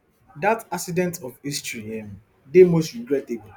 dat accident of history um dey most regrettable